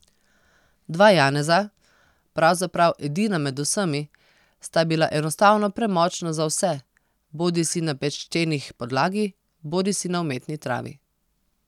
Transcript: Dva Janeza, pravzaprav edina med vsemi, sta bila enostavno premočna za vse, bodisi na peščenih podlagi, bodisi na umetni travi.